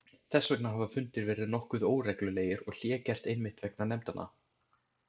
Þess vegna hafa fundir verið nokkuð óreglulegir og hlé gert einmitt vegna nefndanna.